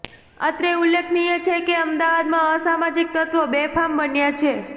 અત્રે ઉલ્લેખનીય છેકે અમદાવાદમાં અસામાજીક તત્વો બેફામ બન્યા છે